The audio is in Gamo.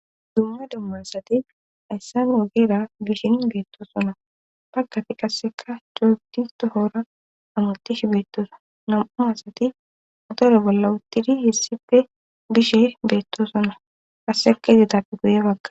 dumma dumma asati hayssan ogera bishin beetto sona pakati kasseka coopti tohora amutish beettosa nam7u asati otore bolla uttidi hissife bishe beetto sona kasseka izetappe goye bagga